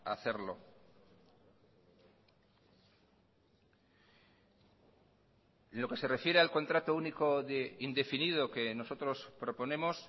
hacerlo en lo que se refiere al contrata único indefinido que nosotros proponemos